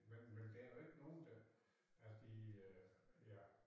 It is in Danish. Men men der jo ikke nogen der af de øh ja